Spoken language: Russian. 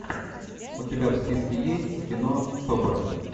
у тебя в списке есть кино собр